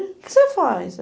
O que você faz?